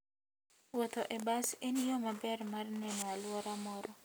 Wuotho e bas en yo maber mar neno alwora moro.